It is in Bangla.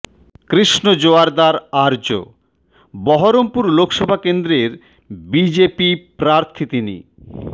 কৃষ্ণ জোয়ারদার আর্য বহরমপুর লোকসভা কেন্দ্রের বিজেপি প্রার্থী তিনি